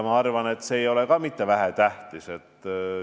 Ma arvan, et ka see ei ole vähetähtis.